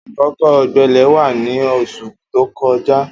Akókó ọgbẹlẹ là wà ni óṣú tókọ̀já